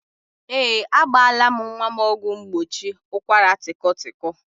Ee, agbaala m nwa m ọgwụ mgbochi ụkwaratịkọtịkọ